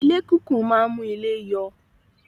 Ilé kìkún máa ń mú ilé yọ